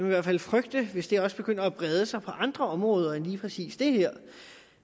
i hvert fald frygte det hvis det også begynder at bredde sig andre områder end lige præcis det her